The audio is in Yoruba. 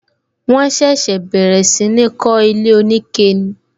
Wọn ṣẹ̀ṣẹ̀ bẹ̀rẹ̀ sí ní kó ilé onike ni